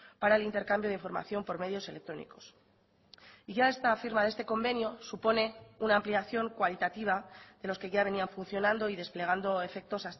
para el intercambio de información por medios electrónicos y ya esta firma de este convenio supone una ampliación cualitativa de los que ya venían funcionando y desplegando efectos